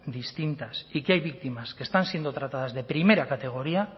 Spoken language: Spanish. distintas y que hay víctimas que están siendo tratadas de primera categoría